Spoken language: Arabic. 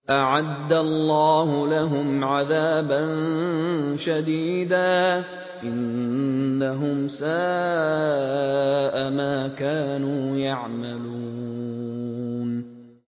أَعَدَّ اللَّهُ لَهُمْ عَذَابًا شَدِيدًا ۖ إِنَّهُمْ سَاءَ مَا كَانُوا يَعْمَلُونَ